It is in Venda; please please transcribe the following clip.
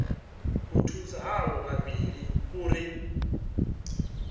u thusa avho vhavhili uri